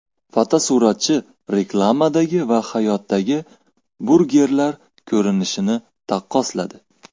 Fotosuratchi reklamadagi va hayotdagi burgerlar ko‘rinishini taqqosladi.